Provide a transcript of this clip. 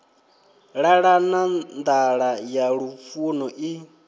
ṱalana nḓala ya lufuno i